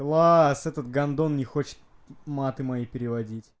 класс этот гандон не хочет маты мо переводить